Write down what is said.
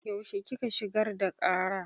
Yaushe kika shigar da ƙara?